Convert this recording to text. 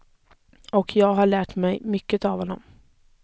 Och jag har lärt mycket av honom.